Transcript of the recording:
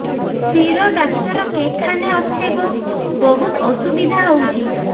ଶିର doctor କେଖାନେ ଅଛେ ଗୋ ବହୁତ୍ ଅସୁବିଧା ହଉଚି